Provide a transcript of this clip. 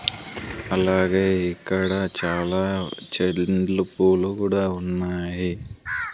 అలాగే ఇక్కడ చాలా చెల్లిండ్లు పూలు గుడా ఉన్నాయి.